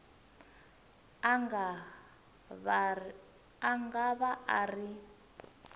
a nga va a ri